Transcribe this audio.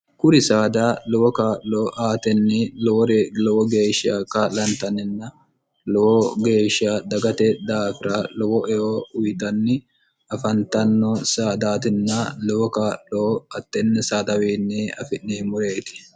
kuri saada lowo kaa'lo aatenni lowore lowo geeshsha ka'lantanninna lowo geeshsha dagate daafira lowo eo uyixanni afantanno saadaatinna lowo kaa'lo attenni sadawinne afi'neemmureeti